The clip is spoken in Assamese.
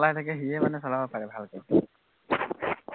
অ যোনে চলাই থাকে সিয়ে মানে চলাব পাৰে ভালকে